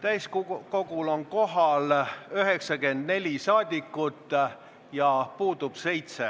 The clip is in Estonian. Täiskogul on kohal 94 saadikut, puudub 7.